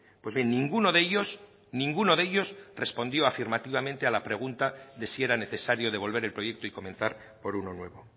pues bien ninguno de ellos ninguno de ellos respondió afirmativamente a la pregunta de si era necesario devolver el proyecto y comenzar por uno nuevo